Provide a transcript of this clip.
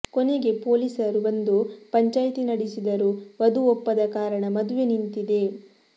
ಕೊನೆಗೆ ಪೊಲೀಸರು ಬಂದು ಪಂಚಾಯಿತಿ ನಡೆಸಿದರೂ ವಧು ಒಪ್ಪದ ಕಾರಣ ಮದುವೆ ನಿಂತಿದೆ